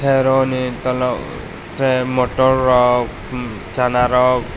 tei oro ni tola tere motor rok chana rok.